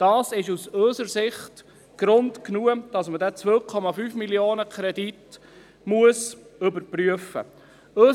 Das ist aus unserer Sicht Grund genug, dass man diesen Kredit von 2,5 Mio. Franken überprüfen muss.